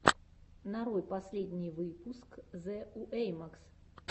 нарой последний выпуск зэ уэймакс